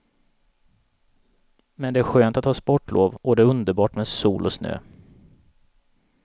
Men det är skönt att ha sportlov och det är underbart med sol och snö.